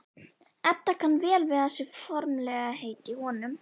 Edda kann vel við þessi formlegheit í honum.